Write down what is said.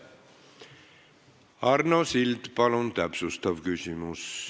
Arno Sild, palun täpsustav küsimus!